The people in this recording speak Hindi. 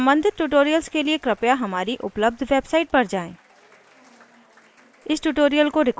यदि नहीं तो सम्बंधित tutorials के लिए हमारी उपलब्ध website पर जाएँ